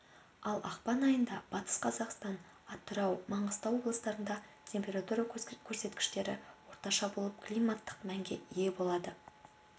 ал ақпан айында батыс қазақстан атырау маңғыстау облыстарында температура көрсеткіштері орташа болып климаттық мәнге ие болады